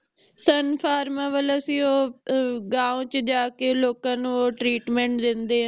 ਸਨਫਾਰਮਾ ਵਲੋਂ ਸੀ ਉਹ ਅਹ ਗਾਓ ਚ ਜਾਕੇ ਲੋਕਾਂ ਨੂੰ treatment ਦੇਂਦੇ ਏ